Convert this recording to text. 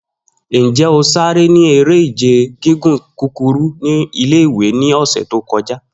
Njẹ o sare ni ere-ije gigun kukuru ni ile-iwe ni ọsẹ to kọja?